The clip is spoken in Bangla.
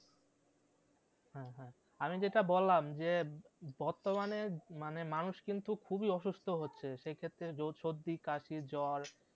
হ্যাঁ হ্যাঁ আমি যেটা বললাম যে বর্তমানে মানে মানুষ কিন্তু খুবই অসুস্থ হচ্ছে সেক্ষেত্রে সর্দি কাশি জ্বর